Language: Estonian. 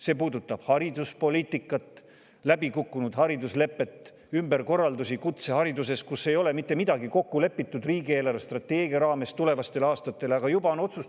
See puudutab ka hariduspoliitikat: läbi kukkunud hariduslepet ja ümberkorraldusi kutsehariduses, mille kohta ei ole riigi eelarvestrateegia raames tulevastel aastatel mitte midagi kokku lepitud.